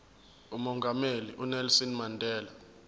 umongameli unelson mandela